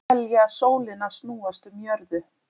Telja sólina snúast um jörðu